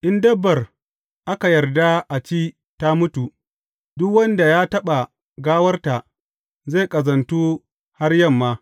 In dabbar aka yarda a ci ta mutu, duk wanda ya taɓa gawarta zai ƙazantu har yamma.